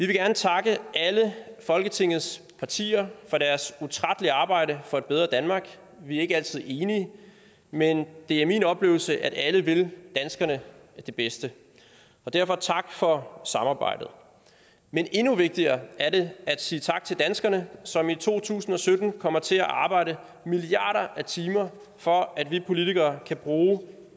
gerne takke alle folketingets partier for deres utrættelige arbejde for et bedre danmark vi er ikke altid enige men det er min oplevelse at alle vil danskerne det bedste derfor tak for samarbejdet men endnu vigtigere er det at sige tak til danskerne som i to tusind og sytten kommer til at arbejde milliarder af timer for at vi politikere kan bruge